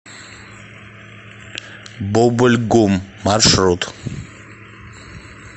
бубль гум маршрут